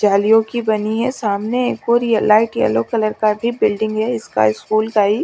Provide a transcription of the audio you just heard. जालियों की बनी है। सामने एक और यह लाइट येलो कलर का भी बिल्डिंग है इसका स्कूल का--